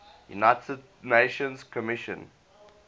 united nations commission